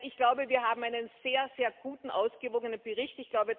Ich glaube, wir haben einen sehr, sehr guten, ausgewogenen Bericht.